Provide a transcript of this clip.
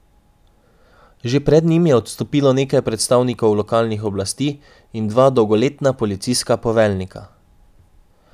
Že pred njim je odstopilo nekaj predstavnikov lokalnih oblasti in dva dolgoletna policijska poveljnika.